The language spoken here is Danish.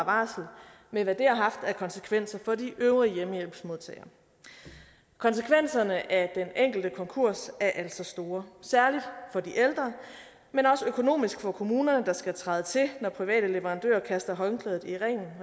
varsel med hvad det har haft af konsekvenser for de øvrige hjemmehjælpsmodtagere konsekvenserne af den enkelte konkurs er altså store særlig for de ældre men også økonomisk for kommunerne der skal træde til når private leverandører kaster håndklædet i ringen